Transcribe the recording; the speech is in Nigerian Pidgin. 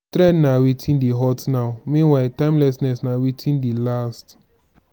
trend na wetin dey hot now meanwhile timelessness na wetin dey last